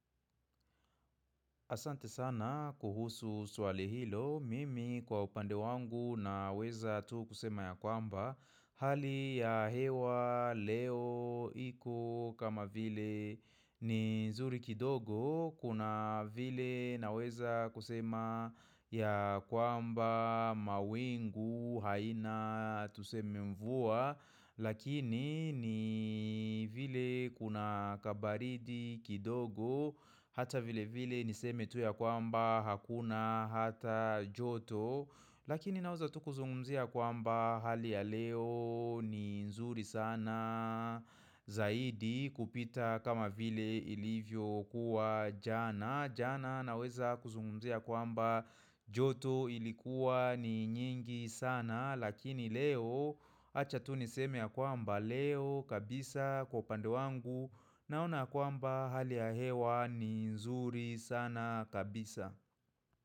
Asante sana kuhusu swali hilo, mimi kwa upande wangu na weza tu kusema ya kwamba Hali ya hewa, leo, iko, kama vile ni nzuri kidogo Kuna vile na weza kusema ya kwamba, mawingu, haina, tuseme mvua Lakini ni vile kuna kabaridi kidogo Hata vile vile niseme tu ya kwamba hakuna hata joto Lakini naweza tu kuzungumzia kwamba hali ya leo ni nzuri sana Zaidi kupita kama vile ilivyo kuwa jana jana naweza kuzungumzia kwamba joto ilikuwa ni nyingi sana Lakini leo acha tu niseme ya kwamba leo kabisa kwa pande wangu Naona kwamba hali ya hewa ni nzuri sana kabisa.